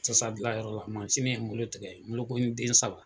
Sisan gilan yɔrɔ la ye n bolo tigɛ bolokɔni den saba